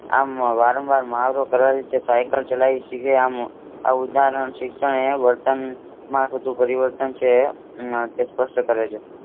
આમ વારંવાર મહાવરો કરવાથી તે સાયકલ ચલાવી શકે છે. આમ ઉદાહરણ શિક્ષણ એ વર્તનમાં થતો પરિવર્તન સાથે સ્પષ્ટ કરે છે.